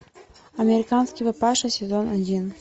американский папаша сезон один